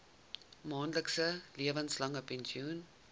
maandelikse lewenslange pensioen